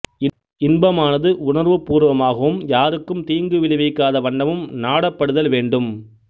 இன்பமானது உணர்வுப்பூர்வமாகவும் யாருக்கும் தீங்கு விளைவிக்காத வண்ணமும் நாடப்படுதல் வேண்டும்